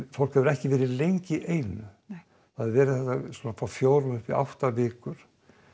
fólk hefur ekki verið lengi í einu hefur verið frá fjórum upp í átta vikur